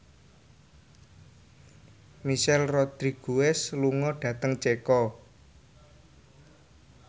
Michelle Rodriguez lunga dhateng Ceko